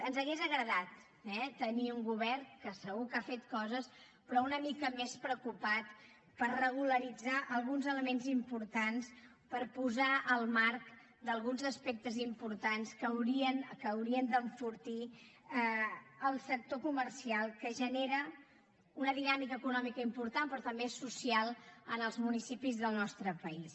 ens hauria agradat eh tenir un govern que segur que ha fet coses però una mica més preocupat per regularitzar alguns elements importants per posar el marc d’alguns aspectes importants que haurien d’enfortir el sector comercial que genera una dinàmica econòmica important però també social en els municipis del nostre país